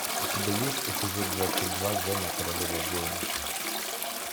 у тебя есть эпизод двадцать два зена королева воинов